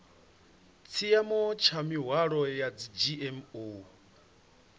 tshiimo tsha mihwalo ya dzgmo